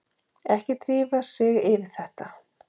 Ekki drífa sig yfir þetta!